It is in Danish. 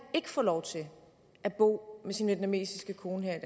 få lov til at bo med sin vietnamesiske kone